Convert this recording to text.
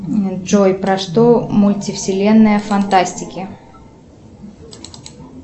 джой про что мультивселенная фантастики